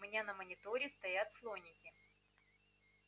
у меня на мониторе стоят слоники